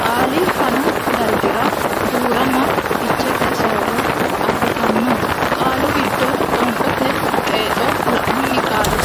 qaali fano dargira duu rama fichete soorro abbitanno qaalu giddo qoonqote Qeexaa linanni qaalu.